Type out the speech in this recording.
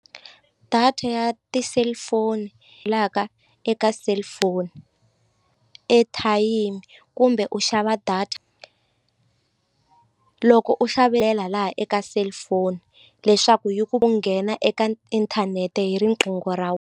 Data ya ti-cellphone la ka eka cellphone ethayimi kumbe u xava data loko u laha eka cellphone leswaku yi ku nghena eka inthanete hi riqingho ra .